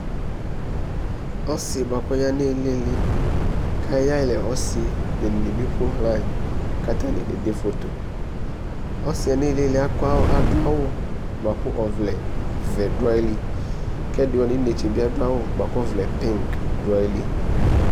ɔse boa kò ɔya n'ilili k'ayi yalɛ ɔse bene ni bi eƒoɣla yi k'atani kede foto ɔsiɛ n'ilili ado awu boa kò ɔvlɛ vɛ do ayili k'ɛdi wani no inetse bi ado awu boa kò ɔvlɛ pink do ayili